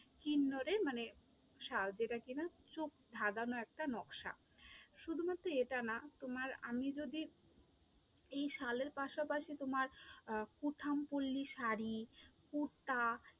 কিন্নরের মানে শাল যেটা কি না চোখ ধাঁধানো একটা নকশা, শুধুমাত্র এটা না তোমার আমি যদি এই শালের পাশাপাশি তোমার আহ কুঠাম পল্লী শাড়ি, কুর্তা